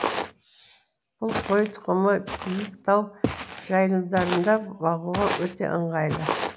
бұл қой тұқымы биік тау жайылымдарында бағуға өте ыңғайлы